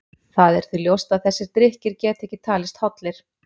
Það er því ljóst að þessir drykkir geta ekki talist hollir.